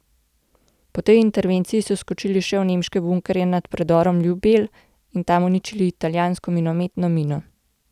Po tej intervenciji so skočili še v nemške bunkerje nad predorom Ljubelj in tam uničili italijansko minometno mino.